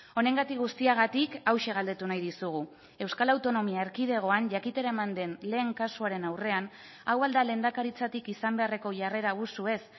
honengatik guztiagatik hauxe galdetu nahi dizugu euskal autonomia erkidegoan jakitera eman den lehen kasuaren aurrean hau al da lehendakaritzatik izan beharreko jarrera abusuez